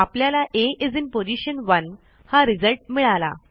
आपल्याला आ is in position 1 हा रिझल्ट मिळाला